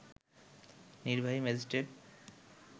নির্বাহী ম্যাজিস্ট্রেট